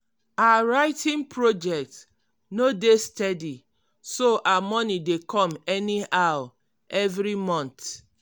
her writing project no dey steady so her money dey come anyhow evri month.